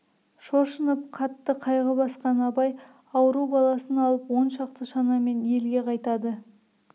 шошынып қатты қайғы басқан абай ауру баласын алып он шақты шанамен елге қайтады